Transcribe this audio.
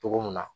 Cogo min na